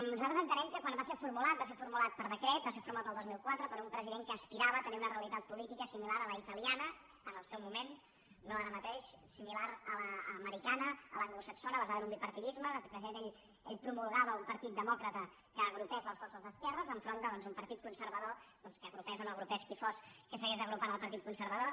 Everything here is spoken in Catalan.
nosaltres entenem que quan va ser formulat va ser formulat per decret va ser formulat el dos mil quatre per un president que aspirava a tenir una realitat política similar a la italiana en el seu moment no ara mateix similar a l’americana a l’anglosaxona basada en un bipartidisme de fet ell promulgava un partit demòcrata que agrupés les forces d’esquerres enfront d’un partit conservador que agrupés o no agrupés qui fos que s’hagués d’agrupar en el partit conservador